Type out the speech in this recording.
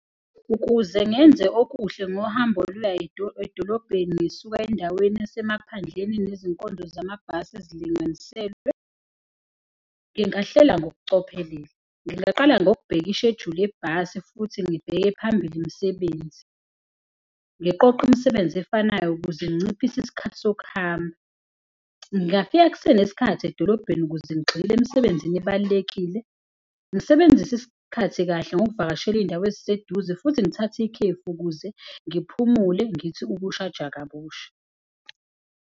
Ukuze ngenze okuhle ngohambo olula edolobheni ngisuka endaweni yasemaphandleni nezinkonzo zamabhasi ezilinganiselwe, ngingahlela ngokucophelele. Ngingaqala ngokubheka ishejuli yebhasi futhi ngibheke phambili imisebenzi, ngiqoqe imisebenzi efanayo ukuze nginciphise isikhathi sokuhamba. Ngingafika kusenesikhathi edolobheni kuze ngigxile emsebenzini ebalulekile. Ngisebenzise isikhathi kahle ngokuvakashela iy'ndawo eziseduze futhi ngithathe ikhefu ukuze ngiphumule ngithi ukushaja kabusha.